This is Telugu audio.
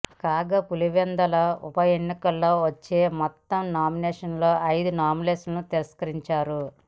కాగా పులివెందుల ఉప ఎన్నికలలో వచ్చిన మొత్తం నామినేషన్లలో ఐదు నామినేషన్లు తిరస్కరించారు